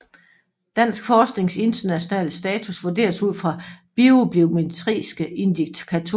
Dansk forsknings internationale status vurderes ud fra bibliometriske indikatorer